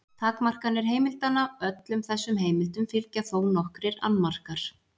Takmarkanir heimildanna Öllum þessum heimildum fylgja þó nokkrir annmarkar.